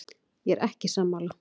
Ég er ekki sammála.